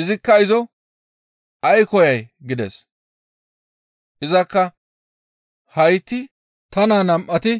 Izikka izo, «Ay koyay?» gides; izakka, «Hayti ta naa nam7ati